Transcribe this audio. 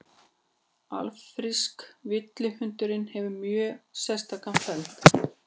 afríski villihundurinn hefur mjög sérstakan feld